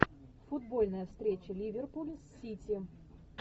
футбольная встреча ливерпуль с сити